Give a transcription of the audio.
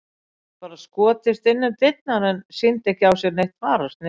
Hann hafði bara skotist inn um dyrnar en sýndi ekki á sér neitt fararsnið.